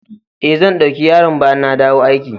Eh, zan dauki yaron bayan na dawo aiki.